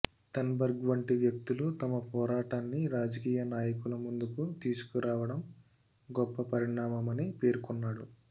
Thunberg వంటి వ్యక్తులు తమ పోరాటాన్ని రాజకీయ నాయకుల ముందుకు తీసుకురావడం గొప్ప పరిణామమని పేర్కొన్నాడు